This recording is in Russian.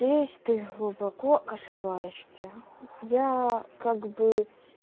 здесь ты глубоко ошибаешься я как бы